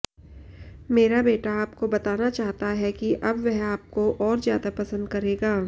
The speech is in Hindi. मेरा बेटा आपको बताना चाहता है कि अब वह आपको और ज्यादा पसंद करेगा